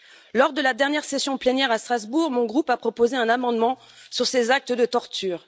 Lors de la dernière session plénière à Strasbourg, mon groupe a proposé un amendement sur ces actes de torture.